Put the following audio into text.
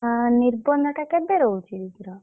ହଁ ନିର୍ବନ୍ଧ ଟା କେବେ ରହୁଛି?